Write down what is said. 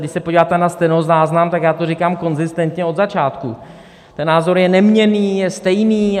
Když se podíváte na stenozáznam, tak já to říkám konzistentně od začátku, ten názor je neměnný, je stejný.